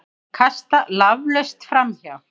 Kasta laflaust framhjá.